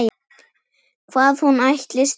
Hvað hún ætlist fyrir.